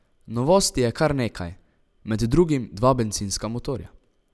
Novosti je kar nekaj, med drugim dva bencinska motorja.